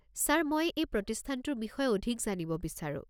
Sir, মই এই প্ৰতিস্থানটোৰ বিষয়ে অধিক জানিব বিচাৰো।